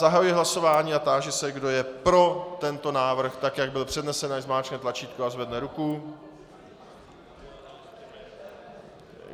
Zahajuji hlasování a táži se, kdo je pro tento návrh tak, jak byl přednesen, ať zmáčkne tlačítko a zvedne ruku.